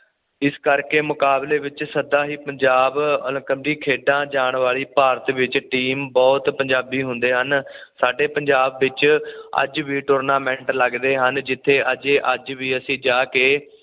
ਇਸ ਕਰਕੇ ਮੁਕਾਬਲੇ ਵਿੱਚ ਸਦਾ ਹੀ ਪੰਜਾਬ ਅਲਕਦੀ ਖੇਡਾਂ ਜਾਣ ਵਾਲੀ ਭਾਰਤ ਵਿੱਚ ਟੀਮ ਬੁਹਤ ਪੰਜਾਬੀ ਹੁੰਦੇ ਹਨ ਸਾਡੇ ਪੰਜਾਬ ਵਿੱਚ ਅੱਜ ਵੀ ਟੂਰਨਾਮੈਂਟ ਲੱਗਦੇ ਹਨ ਜਿੱਥੇ ਅਜੇ ਅੱਜ ਵੀ ਅਸੀਂ ਜਾ ਕੇ